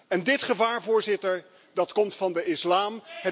En dit gevaar, Voorzitter, dat komt van de islam.